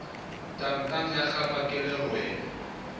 tangtang ya kgangwa ke lerole